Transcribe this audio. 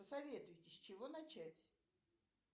посоветуйте с чего начать